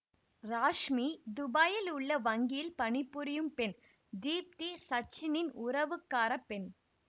ராஷ்மி துபாயில் உள்ள வங்கியில் பணிபுரியும் பெண் தீப்தி சச்சினின் உறவுக்காரப் பெண்